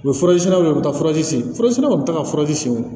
U bɛ furasen siraw de bɛ taa furazi sen fara kɔni bɛ taa furaji senw